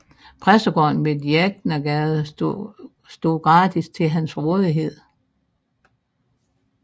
Præstegården ved Djæknegade stod gratis til hans rådighed